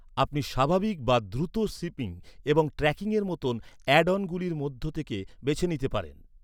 আপনি স্বাভাবিক বা দ্রুত শিপিং এবং ট্র্যাকিংয়ের মতো অ্যাড অনগুলির মধ্যে থেকে বেছে নিতে পারেন।